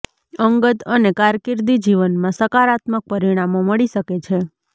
અંગત અને કારકિર્દી જીવનમાં સકારાત્મક પરિણામો મળી શકે છે